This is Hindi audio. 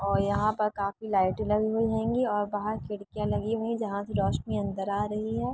और यहाँ पर काफी लाइटें लगी हुई हेगीं और बहार खिड़कियां लगी हुईं जहा से रोशनी अंदर रही है।